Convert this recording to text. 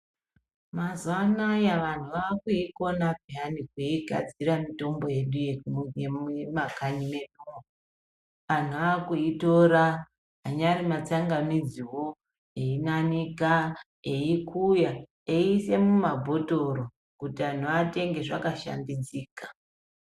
Mazuwa anaya vantu vakuikona peyana kuigadzira mitombo yedu yeku yemumakanyi mwedúmwo antu akuitora anyari matsangamidziwo einanika eikuya eiise mumabhotoro kuti anhu atenge zvakashambidzika.